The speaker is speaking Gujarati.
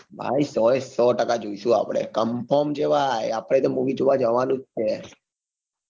ભાઈ સો એ સો ટકા જોઈશું આપડે confirm છે ભાઈ આપડે તો movie જોવા જવાનું જ છે ભા